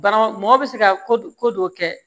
Bana mɔgɔ bɛ se ka ko dɔw kɛ